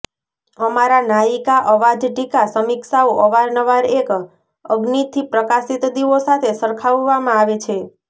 અમારા નાયિકા અવાજ ટીકા સમીક્ષાઓ અવારનવાર એક અગ્નિથી પ્રકાશિત દીવો સાથે સરખાવવામાં આવે છે